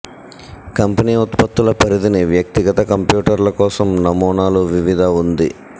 company ఉత్పత్తుల పరిధిని వ్యక్తిగత కంప్యూటర్ల కోసం నమూనాలు వివిధ ఉంది